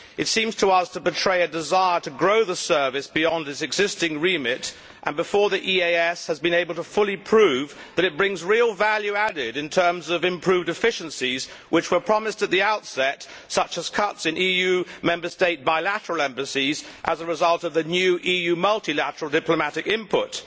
It seems to us to betray a desire to grow the service beyond its existing remit, before the EEAS has been able to fully prove that it brings real added value in terms of the improved efficiencies which were promised at the outset, such as cuts in EU Member State bilateral embassies as a result of the new EU multilateral diplomatic input.